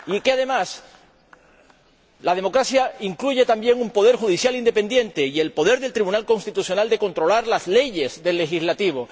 Además, la democracia incluye también un poder judicial independiente y el poder del Tribunal Constitucional de controlar las leyes del poder legislativo